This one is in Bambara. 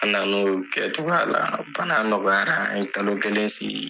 A nan'olu kɛtogoya la. Bana nɔgɔyara, an ye kalo kelen sigi.